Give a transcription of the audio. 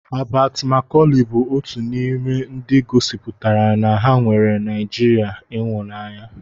Habat Makọlị bụ otu n'ime ndị gosipụtara na ha nweere Naịjirịa ịhụnanya.